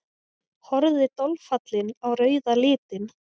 Horfði dolfallin á rauða litinn.